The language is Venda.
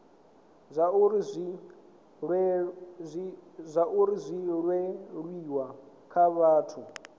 zwauri zwi leluwe kha vhathu